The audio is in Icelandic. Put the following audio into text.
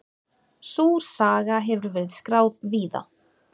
Sú saga hefur verið skráð víða.